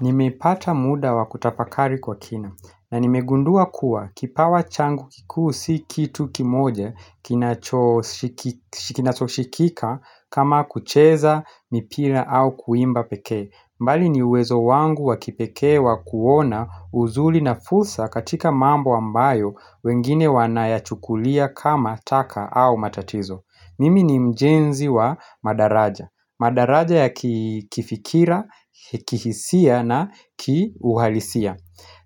Nimepata muda wa kutafakari kwa kina na nimegundua kuwa kipawa changu kikuu si kitu kimoja kinacho kinachoshikika kama kucheza, mipira au kuimba pekee. Bali ni uwezo wangu wa kipekee wa kuona uzuri na fursa katika mambo ambayo wengine wanayachukulia kama taka au matatizo. Mimi ni mjenzi wa madaraja. Madaraja ya kifikira, kihisia na kiuhalisia.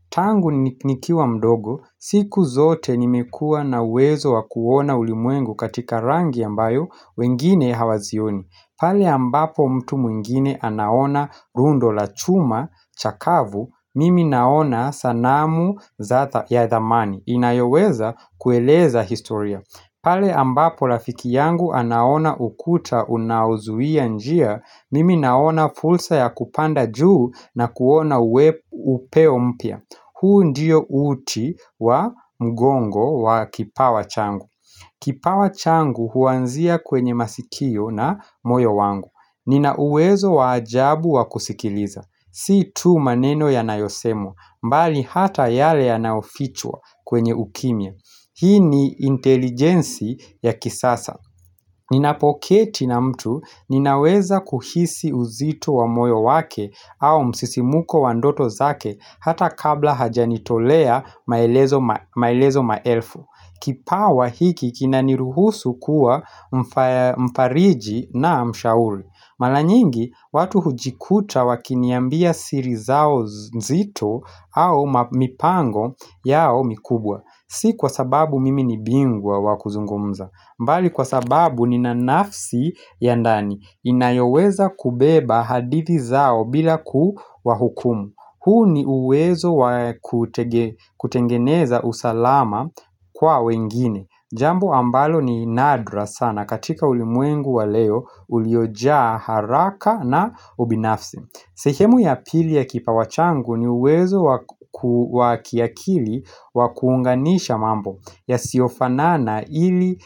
Tangu nikiwa mdogo, siku zote nimekuwa na uwezo wa kuona ulimwengu katika rangi ambayo wengine hawazioni. Pale ambapo mtu mwingine anaona rundo la chuma chakavu, mimi naona sanamu za ya thamani. Inayoweza kueleza historia pale ambapo rafiki yangu anaona ukuta unauzuia njia, Mimi naona fursa ya kupanda juu na kuona upeo mpya. Huu ndio uti wa mgongo wa kipawa changu. Kipawa changu huanzia kwenye masikio na moyo wangu. Nina uwezo wa ajabu wa kusikiliza, si tu maneno yanayosemwa, bali hata yale yanayofichwa kwenye ukimya Hii ni intelijensi ya kisasa Ninapoketi na mtu ninaweza kuhisi uzito wa moyo wake au msisimuko wa ndoto zake hata kabla hajanitolea maelezo maelezo maelfu. Kipawa hiki kinaniruhusu kuwa mfariji na mshauri. Mara nyingi watu hujikuta wakiniambia siri zao nzito au mipango yao mikubwa. Si kwa sababu mimi ni bingwa wakuzungumza, bali kwa sababu ni na nafsi ya ndani inayoweza kubeba hadithi zao bila kuwahukumu. Huu ni uwezo wa kutengeneza usalama kwa wengine. Jambo ambalo ni nadra sana katika ulimwengu wa leo uliojaa haraka na ubinafsi sehemu ya pili ya kipawa changu ni uwezo wa kiakili wa kuunganisha mambo yasiyofanana ili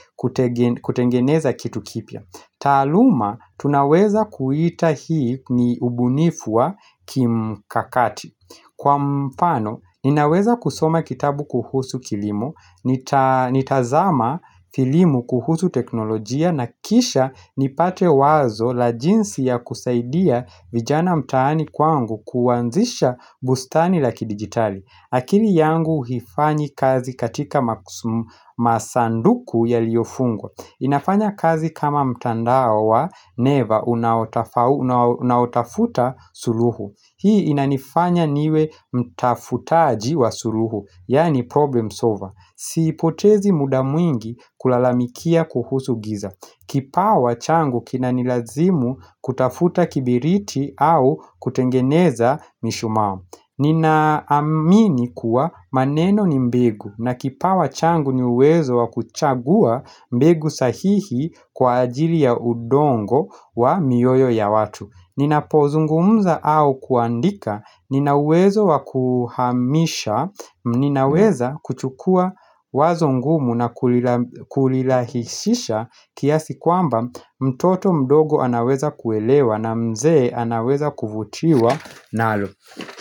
kutengeneza kitu kipya. Taaluma, tunaweza kuita hii ni ubunifu wa kimkakati. Kwa mfano, ninaweza kusoma kitabu kuhusu kilimo, nitazama kilimo kuhusu teknolojia na kisha nipate wazo la jinsi ya kusaidia vijana mtaani kwangu kuanzisha bustani la kidigitali. Akili yangu haifanyi kazi katika masanduku yaliyofungwa. Inafanya kazi kama mtandao wa neva unaotafuta suluhu. Hii inanifanya niwe mtafutaji wa suluhu, yaani problem solver. Sipotezi muda mwingi kulalamikia kuhusu giza. Kipawa changu kinanilazimu kutafuta kibiriti au kutengeneza mishumaa. Ninaamini kuwa maneno ni mbegu na kipawa changu ni uwezo wa kuchagua mbegu sahihi kwa ajili ya udongo wa mioyo ya watu. Ninapozungumza au kuandika, ninauwezo wa kuhamisha, ninaweza kuchukua wazo ngumu na kulirahishisha kiasi kwamba mtoto mdogo anaweza kuelewa na mzee anaweza kuvutiwa nalo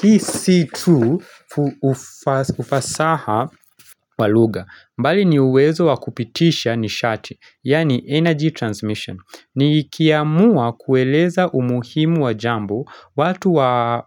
Hii si tu ufasaha wa lugha, bali ni uwezo wakupitisha nishati, yaani energy transmission, nikiamua kueleza umuhimu wa jambo, watu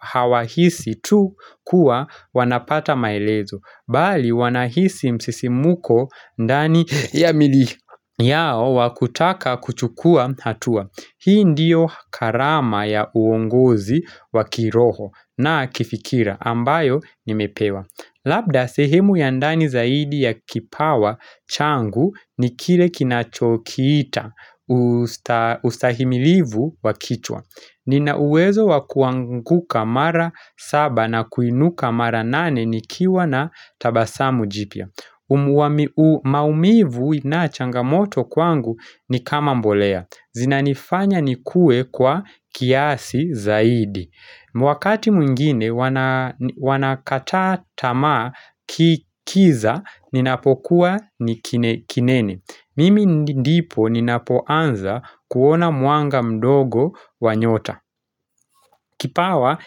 hawahisi tu kuwa wanapata maelezo, bali wanahisi msisimko ndani ya miili yao wakutaka kuchukua hatua. Hii ndiyo karama ya uongozi wa kiroho na kifikira ambayo nimepewa. Labda sehemu ya ndani zaidi ya kipawa changu ni kile kinachokiita ustahimilivu wa kichwa. Ninauwezo wa kuanguka mara saba na kuinuka mara nane nikiwa na tabasamu jipya. Maumivu na changamoto kwangu ni kama mbolea, zinanifanya nikue kwa kiasi zaidi wakati mwingine Wanakata tamaa kiza ninapokuwa ni kinene, Mimi ndipo ninapoanza kuona mwanga mdogo wa nyota Kipawa.